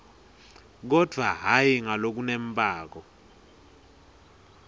kodvwa hhayi ngalokunembako